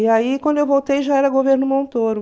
E aí, quando eu voltei, já era governo Montoro.